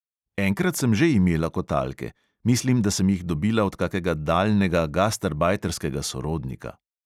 Enkrat sem že imela kotalke – mislim, da sem jih dobila od kakega daljnega gastarbajterskega sorodnika.